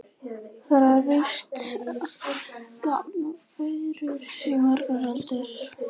Þar var víst grafreitur í margar aldir.